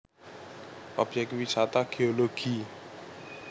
Obyek Wisata Geologi